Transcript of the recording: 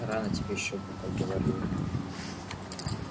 рано тебе ещё внуков говорю я